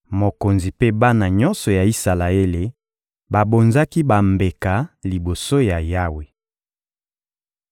Mokonzi mpe bana nyonso ya Isalaele babonzaki bambeka liboso ya Yawe.